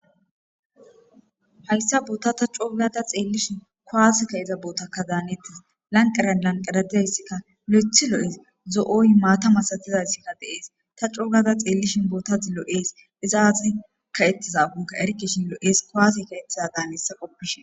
Hayssa boota ta coogada xeellishin koaaseka iza bootakka daanettis lanqaran lanqaradizayssikka lo'ethi loo'es zo'oy maata masatizayssikka deees ta coogada xeellishin boota ziloo'ees izaazi ka ettizakonka erkishin lo'ees koaasi ka ettiza daanissa qoppishin.